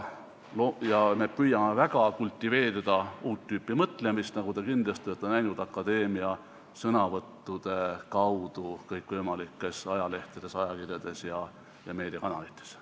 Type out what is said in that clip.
Me püüame väga kultiveerida uut tüüpi mõtlemist, nagu te kindlasti olete näinud akadeemia liikmete sõnavõttudest kõikvõimalikes ajalehtedes, ajakirjades ja meediakanalites.